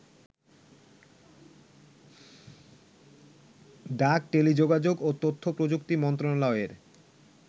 ডাক, টেলিযোগাযোগ ও তথ্যপ্রযুক্তি মন্ত্রণালয়ের